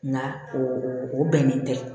Nka o o bɛnnen tɛ